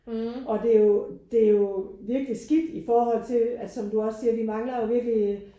Og det jo det jo virkelig skidt i forhold til at som du også siger vi mangler jo virkelig